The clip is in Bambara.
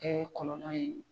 kɔlɔlɔ ye.